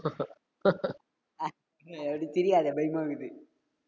அஹ் நீ அப்டி சிரிக்காத பயமா இருக்குது.